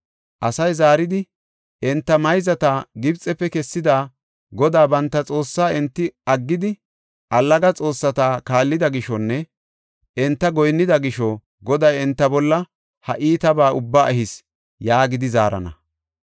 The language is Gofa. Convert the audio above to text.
Asay zaaridi, ‘Enta mayzata Gibxefe kessida, Godaa banta Xoossaa enti aggidi, allaga xoossata kaallida gishonne enta goyinnida gisho Goday enta bolla ha iitabaa ubbaa ehis’ ” yaagidi zaarana.